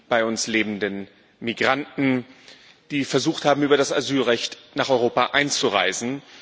bei uns lebenden Migranten, die versucht haben, über das Asylrecht nach Europa einzureisen.